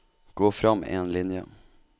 Gå frem én linje